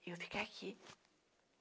Eu ficar aqui.